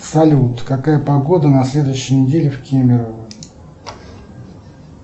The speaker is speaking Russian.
салют какая погода на следующей неделе в кемерово